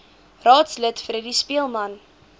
raadslid freddie speelman